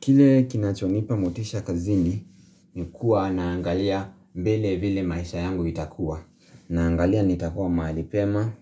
Kile kinachonipa motisha kazini, nikuwa naangalia mbele vile maisha yangu itakuwa. Naangalia nitakuwa maalipema,